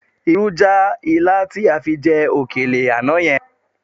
Irú já ilá tí a fi jẹ òkèlè àná yẹn